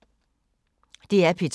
DR P2